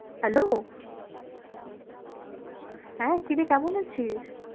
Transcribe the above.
Hello হ্যাঁ, কি রে কেমন আছিস?